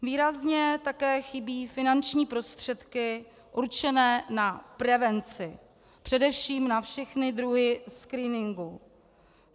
Výrazně také chybí finanční prostředky určené na prevenci, především na všechny druhy screeningů.